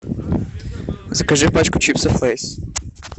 закажи пачку чипсов лейс